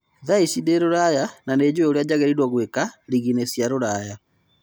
Thaici ndĩ Ruraya na nĩjũĩ ũrĩa njagĩrĩirwo nĩgwika rigiinĩ cia Ruraya.